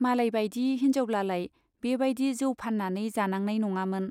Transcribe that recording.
मालायबाइदि हिन्जावब्लालाय बे बाइदि जौ फान्नानै जानांनाय नङामोन।